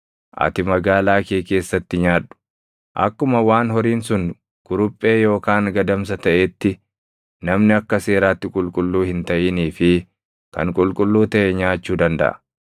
Ati magaalaa kee keessatti nyaadhu. Akkuma waan horiin sun kuruphee yookaan gadamsa taʼeetti namni akka seeraatti qulqulluu hin taʼinii fi kan qulqulluu taʼe nyaachuu dandaʼa.